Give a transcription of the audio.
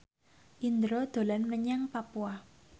Indro dolan menyang Papua